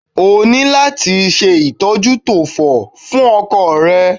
O ní láti ṣe ìdójútòfò fún ọkọ̀ rẹ.